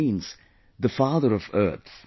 It means the father of earth